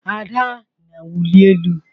Ada na-awụli elu.